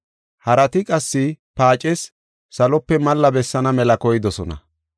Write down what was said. Harati qassi paacees salope malla bessaana mela koydosona.